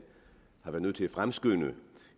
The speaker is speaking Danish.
har været nødt til at fremskynde